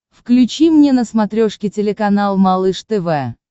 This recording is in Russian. включи мне на смотрешке телеканал малыш тв